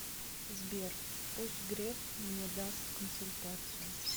сбер пусть греф мне даст консультацию